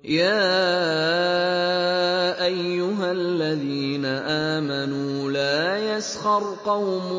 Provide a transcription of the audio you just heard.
يَا أَيُّهَا الَّذِينَ آمَنُوا لَا يَسْخَرْ قَوْمٌ